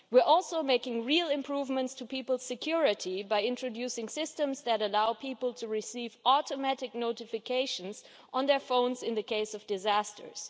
We are making real improvements to people's security, too, by introducing systems that allow people to receive automatic notifications on their phones in the case of disasters.